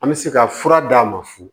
An bɛ se ka fura d'a ma fu